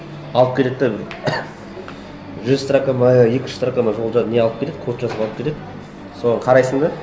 алып келеді де жүз строка ма екі жүз строка ма жол не алып келеді код жазып алып келеді соған қарайсың да